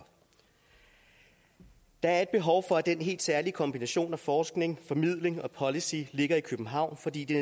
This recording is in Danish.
der er et behov for at den helt særlige kombination af forskning formidling og policy ligger i københavn fordi det